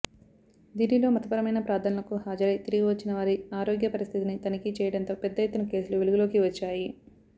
దిల్లీలో మతపరమైన ప్రార్థనలకు హాజరై తిరిగివచ్చిన వారి ఆరోగ్య పరిస్థితిని తనిఖీ చేయడంతో పెద్ద ఎత్తున కేసులు వెలుగులోకి వచ్చాయి